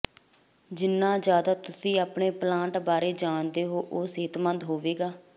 ਜਿੰਨਾ ਜ਼ਿਆਦਾ ਤੁਸੀਂ ਆਪਣੇ ਪਲਾਂਟ ਬਾਰੇ ਜਾਣਦੇ ਹੋ ਉਹ ਸਿਹਤਮੰਦ ਹੋਵੇਗਾ